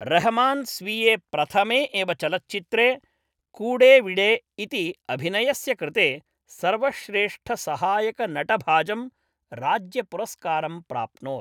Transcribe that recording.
रहमान् स्वीये प्रथमे एव चलच्चित्रे कूडेविडे इति अभिनयस्य कृते सर्वश्रेष्ठसहायकनटभाजं राज्यपुरस्कारं प्राप्नोत्।